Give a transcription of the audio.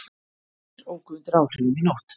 Tveir óku undir áhrifum í nótt